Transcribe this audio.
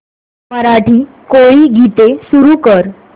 मराठी कोळी गीते सुरू कर